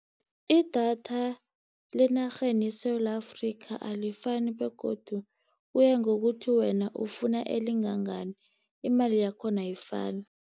Idatha lenarheni yeSewula Afrika alifani, begodu kuyangokuthi wena ufuna elingangani, imali yakhona ayifani.